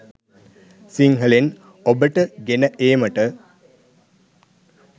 සිංහලෙන් ඔබට ගෙන ඒමට